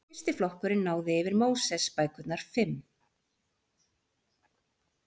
Fyrsti flokkurinn náði yfir Mósebækurnar fimm.